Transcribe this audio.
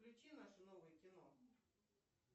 включи наше новое кино